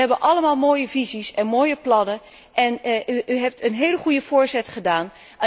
We hebben allemaal mooie visies en mooie plannen en u hebt een hele goede voorzet gedaan.